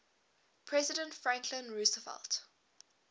president franklin roosevelt